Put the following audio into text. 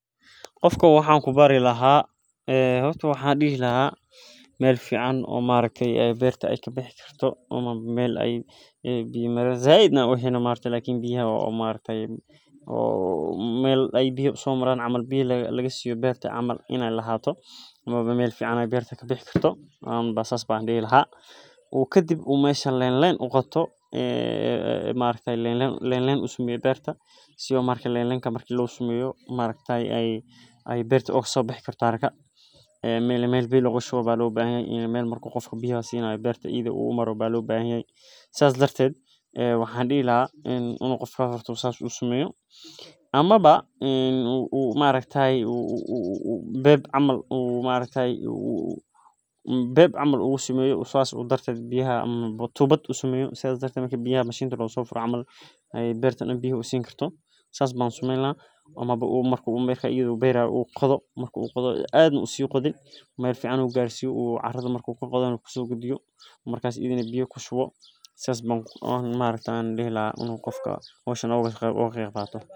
Qofka waxaa ku bari laha horta Meel fican oo maaragte berta e ka bixi karto oo berta biyaha laga siyo meel marki qofka biya lasinayo amawa beb camal usameyo qofka camal amawa marka iyada u berayo marka iyadana u biya siyo sithas ayan oga qeb qadan laha marka sas waye aniga sas ayan ujecelahay waa shaqa wanagsan aniga wan jeclahay dadka ayey wax utarta marka sas waye aniga sas ayan ujeclahay hoshan.